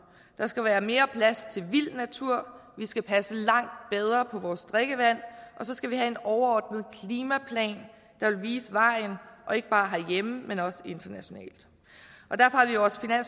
der skal være mere plads til vild natur vi skal passe langt bedre på vores drikkevand og så skal vi have en overordnet klimaplan der vil vise vejen ikke bare herhjemme men også internationalt